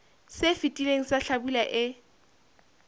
se fetileng sa hlabula e